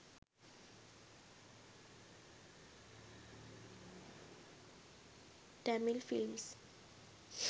tamil films